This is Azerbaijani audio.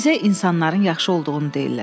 Bizə insanların yaxşı olduğunu deyirlər.